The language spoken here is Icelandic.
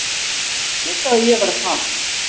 Hver sagði að ég væri að fara?